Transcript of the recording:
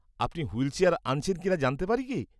-আপনি হুইলচেয়ার আনছেন কিনা জানতে পারি কি?